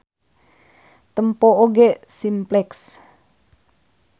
Tempo oge Simplex.